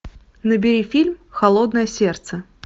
набери фильм холодное сердце